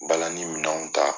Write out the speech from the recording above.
Balani minɛw ta